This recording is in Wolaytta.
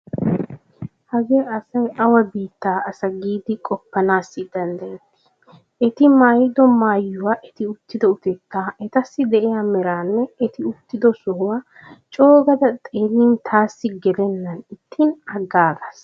Hagee asay awa biittaa asa giidi qoppanaassi danddayettii? Eti maayido maayuwa, eti uttido utettaa, etassi de'iya meraanne eti uttido sohuwaa coogada xeellin taassi gelennan ixxin aggaagaas.